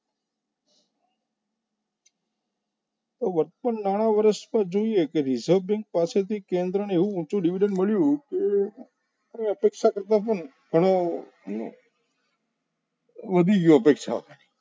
તો વર્ષના નાણા વર્ષમાં જોઈએ તો reserve bank પાસેથી કેન્દ્રને એવું ઊંચું division મળ્યું કે અપેક્ષા કરતાં પણ ઘણું વધી ગયો અપેક્ષાથી